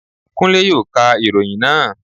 Kúnlé yóò ka ìròyìn naa